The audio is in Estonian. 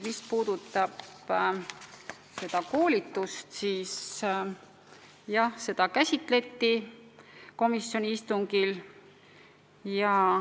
Mis puudutab koolitust, siis jah, seda käsitleti komisjoni istungil.